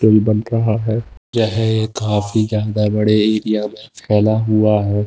येह काफी के अंदर बड़े एरिया मे फैला हुआ है।